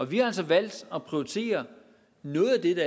vi har altså valgt at prioritere noget af det